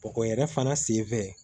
Bɔgɔ yɛrɛ fana senfɛ